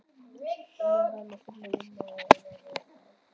Núna yrði hann að finna vinnu eða hafa verra af.